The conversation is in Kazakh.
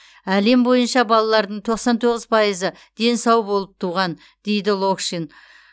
әлем бойынша балалардың тоқсан тоғыз пайызы дені сау болып туған дейді локшин